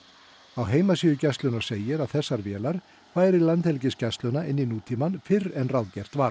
á heimasíðu Gæslunnar segir að þessar vélar færi Landhelgisgæsluna inn í nútímann fyrr en ráðgert var